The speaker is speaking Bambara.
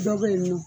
Dɔ bɛ yen nɔ